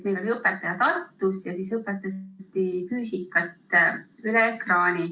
Meil oli õpetaja Tartus ja füüsikat õpetati ekraanil.